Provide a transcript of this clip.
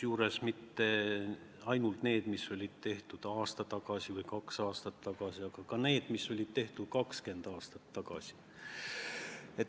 Ja mitte ainult need, mis on tehtud aasta tagasi või kaks aastat tagasi, vaid ka need, mis on tehtud 20 aastat tagasi.